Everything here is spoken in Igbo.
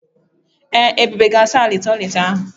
Ee, Ebube ga asa ala toịletị ahụ.